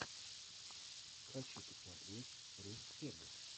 хочу посмотреть руссфегг